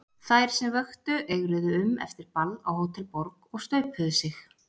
Þær sem vöktu eigruðu um eftir ball á Hótel Borg, og staupuðu sig.